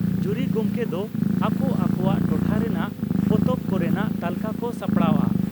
ᱡᱩᱨᱤ ᱜᱚᱢᱠᱮ ᱫᱚ ᱟᱠᱚ ᱟᱠᱚᱣᱟᱜ ᱴᱚᱴᱷᱟ ᱨᱮᱱᱟᱜ ᱯᱚᱛᱚᱵ ᱠᱚᱨᱮᱱᱟᱜ ᱛᱟᱹᱞᱠᱟᱹ ᱠᱚ ᱥᱟᱯᱲᱟᱣᱜᱼᱟ ᱾